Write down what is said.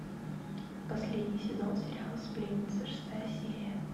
последний сезон сериала сплетница шестая серия